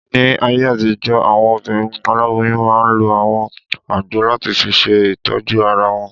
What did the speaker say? Ní ayé àtijọ́, àwọn obìnrin aláboyún máa n lo àwọn àgbo láti fi ṣe ìtọ́jú ara wọn